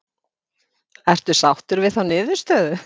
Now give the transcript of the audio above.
Ertu sáttur við þá niðurstöðu?